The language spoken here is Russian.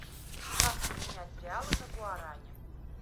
как поменять реалы на гуарани